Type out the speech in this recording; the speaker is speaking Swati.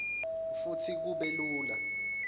futsi kube lula